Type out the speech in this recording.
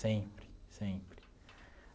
Sempre, sempre.